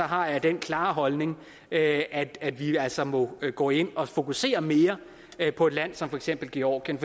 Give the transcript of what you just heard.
har jeg den klare holdning at at vi altså må gå ind og fokusere mere på et land som for eksempel georgien